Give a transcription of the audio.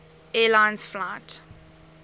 air lines flight